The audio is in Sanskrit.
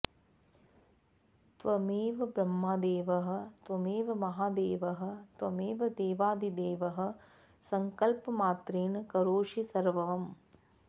त्वमेव ब्रह्मदेवः त्वमेव महादेवः त्वमेव देवादिदेवः संकल्पमात्रेण करोषि सर्वम्